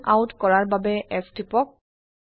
জুম out কৰাৰ বাবে S টিপক